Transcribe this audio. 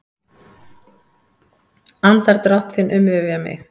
Andardrátt þinn umvefja mig.